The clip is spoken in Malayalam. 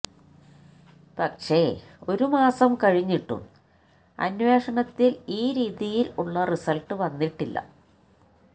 പക്ഷെ ഒരു മാസം കഴിഞ്ഞിട്ടും അന്വേഷണത്തിൽ ഈ രീതിയിൽ ഉള്ള റിസൾട്ട് വന്നിട്ടില്ല